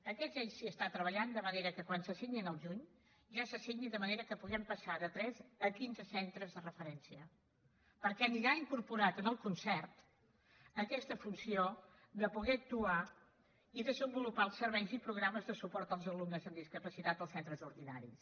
en aquests ja s’hi s’està treballant de manera que quan se signin al juny ja se signin de manera que puguem passar de tres a quinze centres de referència perquè anirà incorporada en el concert aquesta funció de poder actuar i desenvolupar els serveis i programes de suport als alumnes amb discapacitat als centres ordinaris